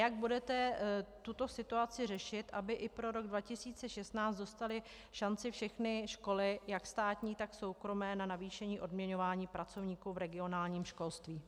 Jak budete tuto situaci řešit, aby i pro rok 2016 dostaly šanci všechny školy, jak státní tak soukromé, na navýšení odměňování pracovníků v regionálním školství?